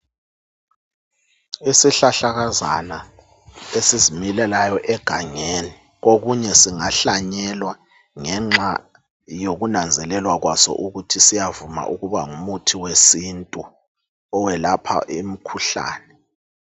Isihlahlakazana esizimilelayo egangeni okunye singahlanyelwa ngenxa yokunanzelelwa kwaso ukuthi siyavuma ukuba ngumuthi wesintu owelapha imkhuhlane.